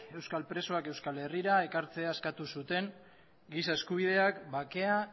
euskal presoak euskal herrira ekartzea eskatu zuten giza eskubideak bakea